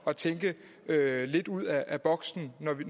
at tænke lidt ud af boksen